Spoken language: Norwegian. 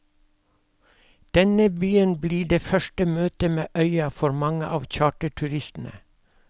Denne byen blir det første møtet med øya for mange av charterturistene.